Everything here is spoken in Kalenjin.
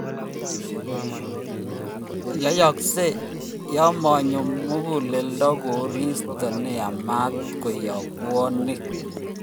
Yoyoksei yamanyo muguleldo korsito neyamat koyob bwonik